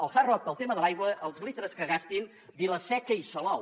el hard rock pel tema de l’aigua els litres que gastin vila seca i salou